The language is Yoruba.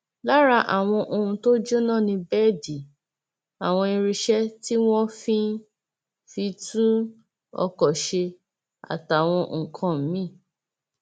lára àwọn ohun tó jóná ni bẹẹdì àwọn irinṣẹ tí wọn fi fi ń tún ọkọ ṣe àtàwọn nǹkan mìín